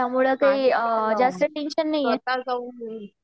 त्यामुळे काही जास्त टेंशन नाही.